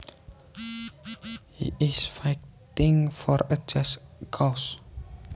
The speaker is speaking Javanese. He is fighting for a just cause